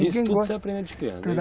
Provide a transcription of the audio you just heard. Isso tudo você aprende de criança.